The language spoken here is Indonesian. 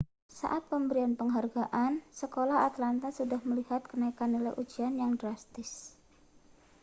saat pemberian penghargaan sekolah atlanta sudah melihat kenaikan nilai ujian yang drastis